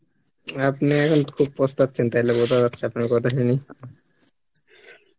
আপনি এখন খুব পস্তাচ্ছেন তাহলে বোঝা যাচ্ছে আপনার কথা শুনেই